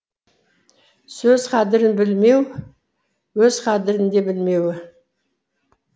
сөз қадірін білмеуі өз қадірін де білмеуі